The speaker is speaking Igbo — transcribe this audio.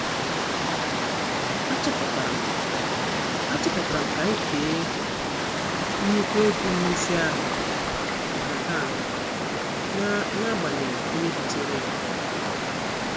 Atuputaram Atuputaram ka anyị kee nnukwu ego mmezi ahụ nhataha n' n'agbanyeghị onye butere ya.